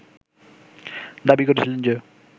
দাবি করেছিলেন যে